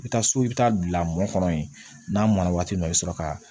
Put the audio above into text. I bɛ taa so i bɛ taa bila mɔni ye n'a mɔna waati min i bɛ sɔrɔ ka